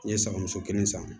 N ye sagamuso kelen san